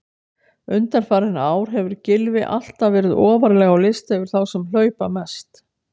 Undanfarin ár hefur Gylfi alltaf verið ofarlega á lista yfir þá sem hlaupa mest.